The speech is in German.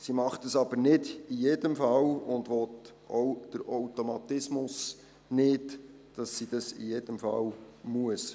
Sie tut es nicht in jedem Fall und will auch den Automatismus nicht, dass sie dies in jedem Fall tun muss.